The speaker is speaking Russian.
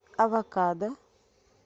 авокадо